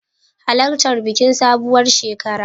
Halartar bikin sabuwar shekara.